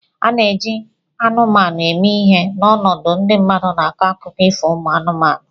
A na-eji anụmanụ eme ihe n'ọnọdụ ndị mmadụ n'akụkọ ifo umu anụmanụ